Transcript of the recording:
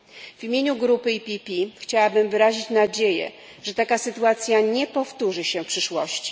W imieniu grupy PPE chciałabym wyrazić nadzieję, że taka sytuacja nie powtórzy się w przyszłości.